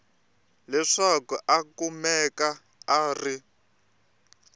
leswaku a kumeka a ri